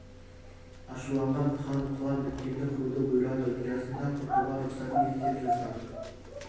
ашуланған хан құлан біткенді қыруды бұйырады ұясында құртуға рұқсат ет деп жазған